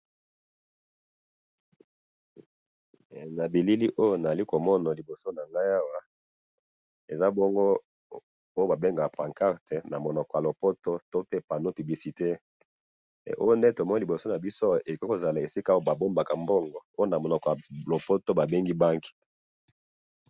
Na bilili oyo nazali komona liboso na ngai awa eza bongo oyo babengaka pancarte na monoko ya lopoto to pe panneau publicitaire ,oyo nde liboso na biso ekoki kozala esika oyo babombaka mbongo oyo na monoko ya lopoto babengi banque